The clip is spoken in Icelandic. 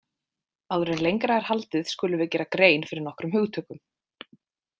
Áður en lengra er haldið skulum við gera grein fyrir nokkrum hugtökum.